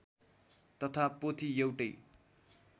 तथा पोथी एउटै